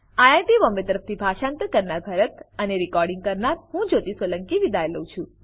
IIT Bombay તરફથી હું ભરતભાઈ સોલંકી વિદાય લઉં છું